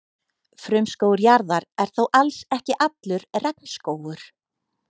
Frumskógur jarðar er þó alls ekki allur regnskógur.